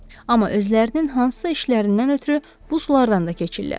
Amma özlərinin hansısa işlərindən ötrü bu sulardan da keçirlər.